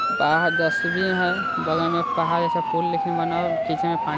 बाहर डस्टबिन है बगल में पानी--